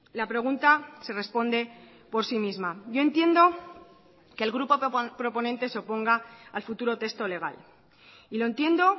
la pregunta se responde por sí misma yo entiendo que el grupo proponente se oponga al futuro texto legal y lo entiendo